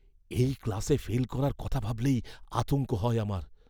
এই ক্লাসে ফেল করার কথা ভাবলেই আতঙ্ক হয় আমার!